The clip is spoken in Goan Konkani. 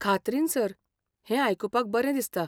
खात्रीन, सर. हें आयकुपाक बरें दिसता.